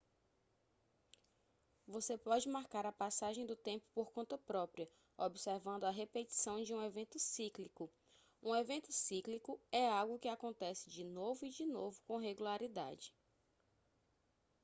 você pode marcar a passagem do tempo por conta própria observando a repetição de um evento cíclico um evento cíclico é algo que acontece de novo e de novo com regularidade